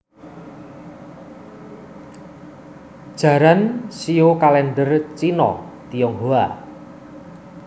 Jaran shio kalèndher Cina/Tionghoa